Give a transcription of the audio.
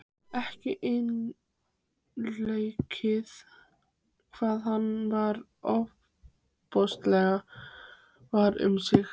Ekki einleikið hvað hann var ofboðslega var um sig.